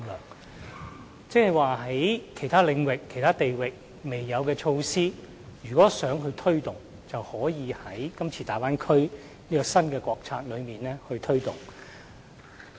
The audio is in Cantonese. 換言之，在其他領域和地域尚未設有的措施，也可以在今次大灣區這項新國策下推動。